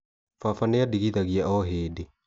Baba nĩandigithagia o hĩndĩ